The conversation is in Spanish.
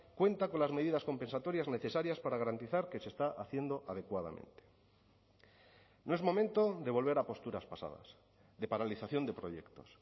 cuenta con las medidas compensatorias necesarias para garantizar que se está haciendo adecuadamente no es momento de volver a posturas pasadas de paralización de proyectos